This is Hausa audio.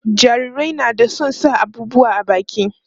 jarirai na da San sa abubuwa a baki